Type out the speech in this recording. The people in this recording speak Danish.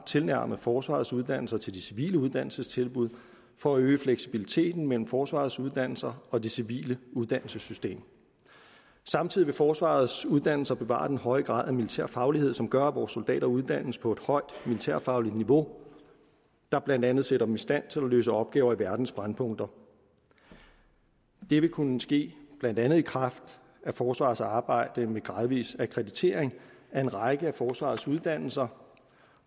tilnærme forsvarets uddannelser til de civile uddannelsestilbud for at øge fleksibiliteten mellem forsvarets uddannelser og det civile uddannelsessystem samtidig vil forsvarets uddannelser bevare den høje grad af militær faglighed som gør at vores soldater uddannes på et højt militærfagligt niveau der blandt andet sætter dem i stand til at løse opgaver i verdens brændpunkter det vil kunne ske blandt andet i kraft af forsvarets arbejde med gradvis akkreditering af en række af forsvarets uddannelser